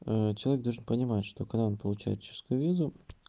человек должен понимать что когда он получает чешскую визу